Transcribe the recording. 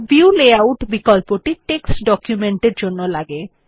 view layout বিকল্পটি text document এর জন্য লাগে